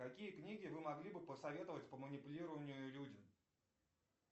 какие книги вы могли бы посоветовать по манипулированию людям